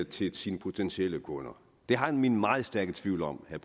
til sine potentielle kunder det har jeg mine meget stærke tvivl om